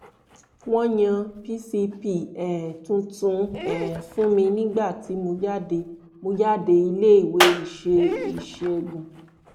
wọ́n yan pcp um tuntun um fún mi nígbà tí mo jáde mo jáde iléèwé ìṣe ìṣègùn